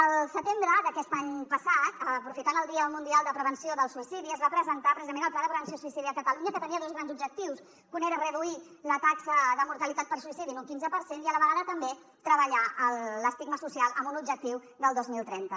el setembre d’aquest any passat aprofitant el dia mundial de prevenció del suïcidi es va presentar precisament el pla de prevenció del suïcidi a catalunya que tenia dos grans objectius que un era reduir la taxa de mortalitat per suïcidi en un quinze per cent i a la vegada també treballar l’estigma social amb un objectiu del dos mil trenta